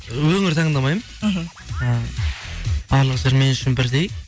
өңір таңдамаймын мхм і барлық жер мен үшін бірдей